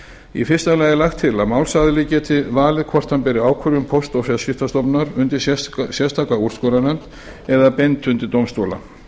í fyrsta lagi er lagt til að málsaðili geti valið hvort hann beri ákvörðun póst og fjarskiptastofnunar undir sérstaka úrskurðarnefnd eða beint undir dómstóla